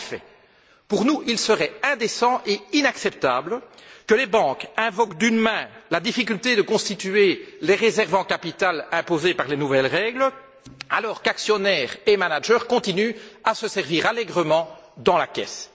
En effet, il serait indécent et inacceptable, à nos yeux, que les banques invoquent d'une main la difficulté de constituer les réserves en capital imposées par les nouvelles règles alors qu'actionnaires et managers continuent à se servir allègrement dans la caisse.